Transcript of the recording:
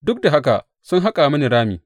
Duk da haka sun haƙa mini rami.